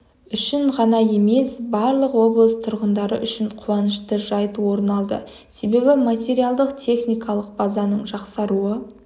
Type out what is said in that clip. үшін ғана емес барлық облыс тұрғындары үшін қуанышты жайт орын алды себебі материалдық-техникалық базаның жақсаруы